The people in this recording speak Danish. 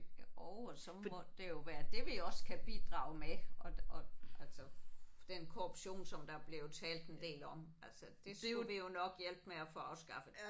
Jo og så må det jo være det vi også kan bidrage med og og altså den korruption som der er blevet talt en del om altså det skulle vi jo nok hjælpe med at få afskaffet